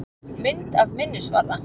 Mynd af minnisvarða.